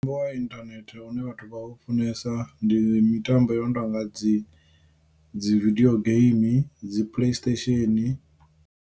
Mutambo wa inthanethe une vhathu vha u funesa ndi mitambo i no tonga dzi dzi video game dzi play station.